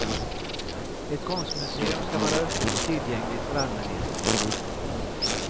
Ett konstmuseum ska vara öppet och tillgängligt för allmänheten. punkt